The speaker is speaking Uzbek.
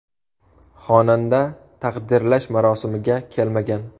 Xonanda taqdirlash marosimiga kelmagan.